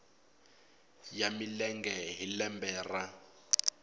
ya milenge hi lembe ra